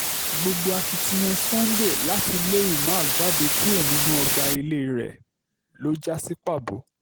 gbogbo akitiyan sunday láti lé umar jáde kúrò nínú ọgbà ilé rẹ̀ ló já sí pàbó